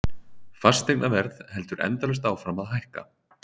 Fasteignaverð heldur endalaust áfram að hækka.